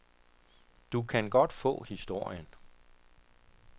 Du kan godt få historien.